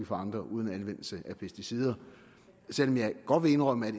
for andre uden anvendelse af pesticider selv om jeg godt vil indrømme at